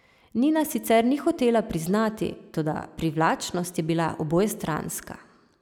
Nina sicer ni hotela priznati, toda privlačnost je bila obojestranska.